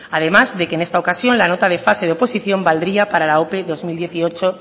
además de que en esta ocasión la nota de fase de oposición valdría para la ope bi mila hemezortzi